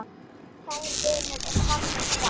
Kær vinur er fallin frá.